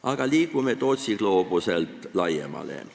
Aga vaatame Tootsi gloobusest laiemalt.